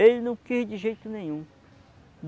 Ele não quis de jeito nenhum.